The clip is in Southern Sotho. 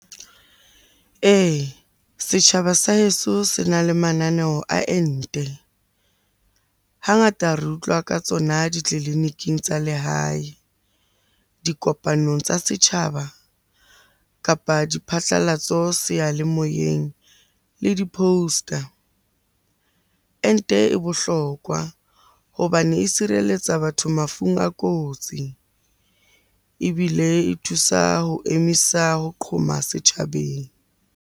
Ee, setjhaba sa heso se na le mananeo a ente. Hangata re utlwa ka tsona ditleliniking tsa lehae, dikopanong tsa setjhaba, kapa diphatlalatso seyalemoyeng le di-poster. Ente e bohlokwa hobane e sireletsa batho mafung a kotsi, ebile e thusa ho emisa ho qhoma setjhabeng.